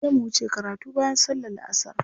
Sai mu wuce karatu bayan sallar la'asar.